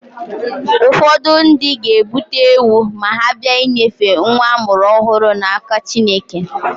Ụfọdụ ndị ga-ebute ewu ma ha bịa inyefe nwa a mụrụ ọhụrụ n'aka Chineke.